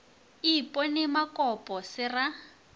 e ipone makopo se ra